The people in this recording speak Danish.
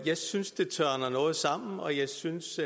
jeg synes det tørner noget sammen og jeg synes